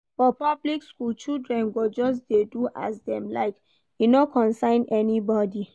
For public skool, children go just dey do as dem like, e no concern anybodi.